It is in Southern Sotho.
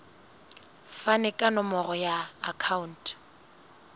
fane ka nomoro ya akhauntu